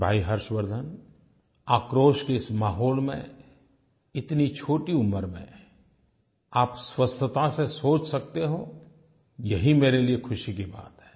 भाई हर्षवर्द्धन आक्रोश के इस माहौल में इतनी छोटी उम्र में आप स्वस्थता से सोच सकते हो यही मेरे लिए ख़ुशी की बात है